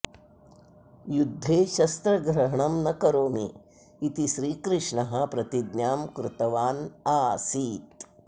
युद्धे शस्त्रग्रहणं न करोमि इति श्रीकृष्णः प्रतिज्ञां कृतवान् आसीत्